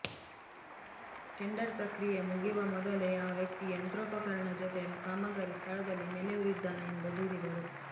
tender ಪ್ರಕ್ರಿಯೆ ಮುಗಿವ ಮೊದಲೇ ಆ ವ್ಯಕ್ತಿ ಯಂತ್ರೋಪಕರಣ ಜತೆ ಕಾಮಗಾರಿ ಸ್ಥಳದಲ್ಲಿ ನೆಲೆಯೂರಿದ್ದಾನೆ ಎಂದು ದೂರಿದರು